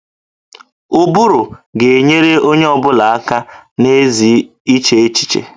Ụbụrụ ga-enyere onye ọ bụla aka na ezi iche echiche